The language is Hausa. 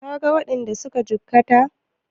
Ka ga waɗanda suka jikkata?